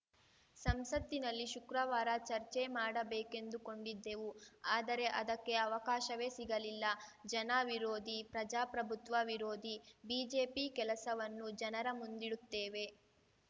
ಸಂಸತ್ತಿನಲ್ಲಿ ಶುಕ್ರವಾರ ಚರ್ಚೆ ಮಾಡಬೇಕೆಂದುಕೊಂಡಿದ್ದೆವು ಆದರೆ ಅದಕ್ಕೆ ಅವಕಾಶವೇ ಸಿಗಲಿಲ್ಲ ಜನ ವಿರೋಧಿ ಪ್ರಜಾಪ್ರಭತ್ವ ವಿರೋಧಿ ಬಿಜೆಪಿ ಕೆಲಸವನ್ನು ಜನರ ಮುಂದಿಡುತ್ತೇವೆ